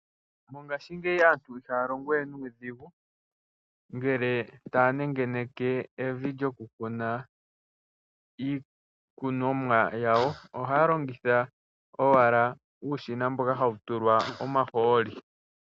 Mongashingeyi aantu ihaya longo we nuudhigu, ngele taya nengeneke evi lyoku kuna iikunomwa yawo. Ohaya longitha owala uushina mboka hawu tulwa omahooli.